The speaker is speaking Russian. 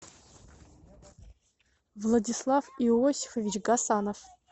владислав иосифович гасанов